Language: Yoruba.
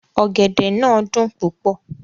Ọ̀gẹ̀dẹ̀ náà dùn púpọ̀